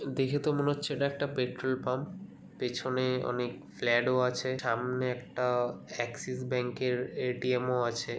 দেখে তো মনে হচ্ছে এটা একটা পেট্রোল পাম্প । পেছনে অনেক ফ্লাড ও আছে। সামনে একটা অ্যাক্সিস ব্যাঙ্কের এ.টি.এম. ও আছে।